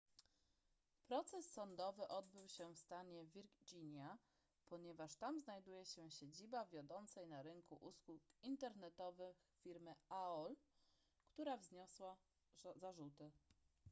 proces sądowy odbył się w stanie wirginia ponieważ tam znajduje się siedziba wiodącej na rynku usług internetowych firmy aol która wniosła zarzuty